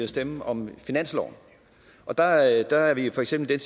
stemme om finansloven og der er der er vi jo for eksempel